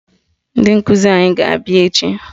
Ndị nkụzi anyị ga-abịa echi